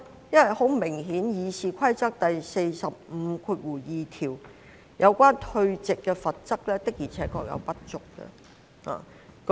因為《議事規則》第452條所訂有關退席的罰則確實顯然不足。